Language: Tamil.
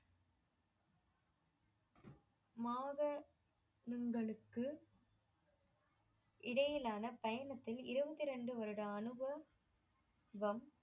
மாதனுங்களுக்கு இடையிலான பயணத்தில் இருபத்தி ரெண்டு வருட அனுபவம்